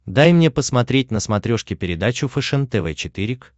дай мне посмотреть на смотрешке передачу фэшен тв четыре к